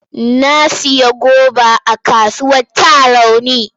Na sayi goba a kasuwar Tarauni.